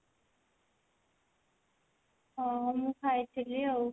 ହଁ ମୁଁ ଖାଇଥିଲି ଆଉ।